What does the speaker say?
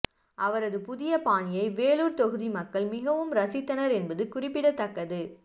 அவரது புதிய பாணியை வேலூர் தொகுதி மக்கள் மிகவும் ரசித்தனர் என்பது குறிப்பிடத்தக்க்கது